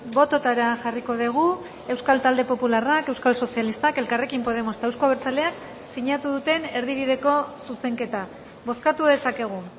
bototara jarriko dugu euskal talde popularrak euskal sozialistak elkarrekin podemos eta euzko abertzaleak sinatu duten erdibideko zuzenketa bozkatu dezakegu